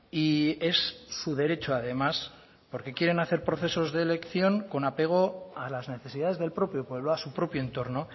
y es su derecho además porque quieren hacer procesos de elección con apego a las necesidades del propio pueblo a su propio entorno